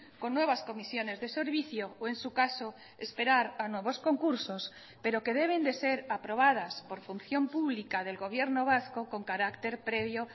con nuevas comisiones de servicio o en su caso esperar a nuevos concursos pero que deben de ser aprobadas por función pública del gobierno vasco con carácter previo